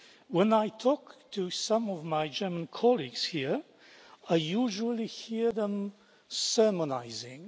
When I talk to some of my German colleagues here, I usually hear them sermonising.